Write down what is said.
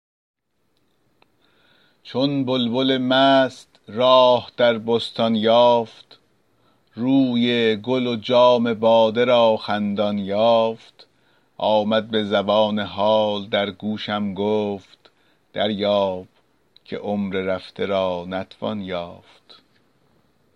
چون بلبل مست راه در بستان یافت روی گل و جام باده را خندان یافت آمد به زبان حال در گوشم گفت دریاب که عمر رفته را نتوان یافت